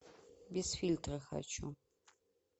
без фильтра хочу